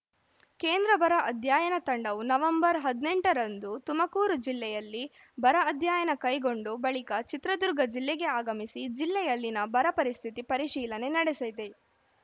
ಕೇಂದ್ರ ಬರ ಅಧ್ಯಯನ ತಂಡವು ನವೆಂಬರ್ ಹದಿನೆಂಟರಂದು ತುಮಕೂರು ಜಿಲ್ಲೆಯಲ್ಲಿ ಬರ ಅಧ್ಯಯನ ಕೈಗೊಂಡು ಬಳಿಕ ಚಿತ್ರದುರ್ಗ ಜಿಲ್ಲೆಗೆ ಆಗಮಿಸಿ ಜಿಲ್ಲೆಯಲ್ಲಿನ ಬರ ಪರಿಸ್ಥಿತಿ ಪರಿಶೀಲನೆ ನಡೆಸೆದೆ